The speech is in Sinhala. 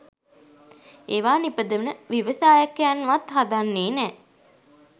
ඒවා නිපදවන ව්‍යවසායකයන්වත් හදන්නේ නෑ.